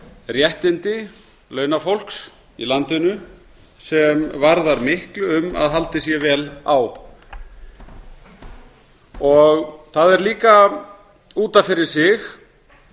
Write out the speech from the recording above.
réttindi launafólks í landinu sem varðar miklu um að haldið sé vel á það er líka út af fyrir sig